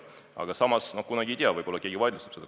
Aga samas kunagi ei tea, võib-olla keegi vaidlustab selle.